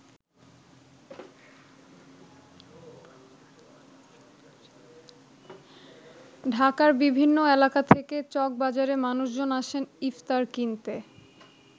ঢাকার বিভিন্ন এলাকা থেকে চকবাজারে মানুষজন আসেন ইফতার কিনতে।